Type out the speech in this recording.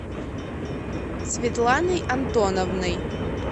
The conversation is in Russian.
светланой антоновной